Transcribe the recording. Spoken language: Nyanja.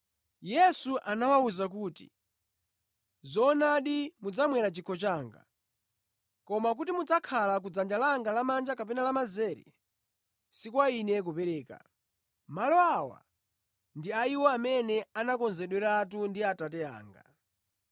Yesu anawawuza kuti, “Zoonadi mudzamwera chikho changa, koma kuti mudzakhale ku dzanja langa lamanja kapena lamazere si kwa Ine kupereka. Malo awa ndi a iwo amene anakonzeredweratu ndi Atate anga.”